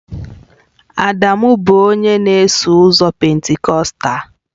Adamu bụ onye na-eso ụzọ Pentikọstal